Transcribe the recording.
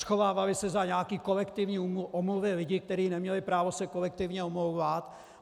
Schovávali se za nějaké kolektivní omluvy lidí, kteří neměli právo se kolektivně omlouvat.